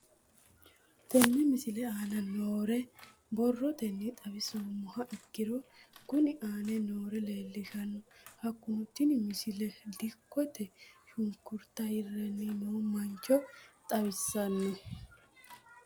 Tenne misile aana noore borrotenni xawisummoha ikirro kunni aane noore leelishano. Hakunno tinni misile dikkote shunkuruuta hirranni noo mancho xawissanno.